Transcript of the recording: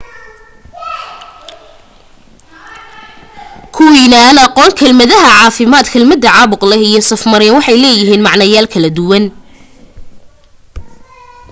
kuwiina aan aqoon kelmadaha caafimaad kelmadaha caabuq leh iyo saf-mareen waxay leeyihiin macnoyaal kala duwan